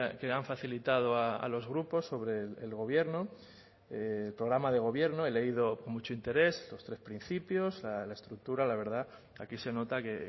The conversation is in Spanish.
que han facilitado a los grupos sobre el gobierno el programa de gobierno he leído con mucho interés los tres principios la estructura la verdad aquí se nota que